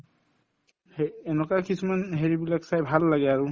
এনেকুৱা কিছুমান হেৰি বিলাক চাই ভাল লাগে আৰু